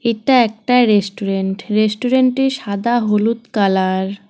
এটা একটা restaurant restaurant -এ সাদা হলুদ কালার ।